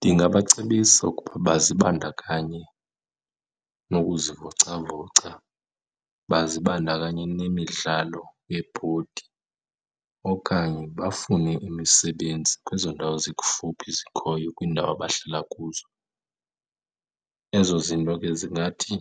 Ndingabacebisa ukuba bazibandakanye nokuzivocavoca, bazibandakanye nemidlalo yebhodi okanye bafune imisebenzi kwezo ndawo zikufuphi zikhoyo kwiindawo abahlala kuzo. Ezo zinto ke zingathi